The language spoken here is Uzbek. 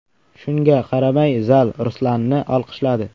Shunga qaramay, zal Ruslanni olqishladi.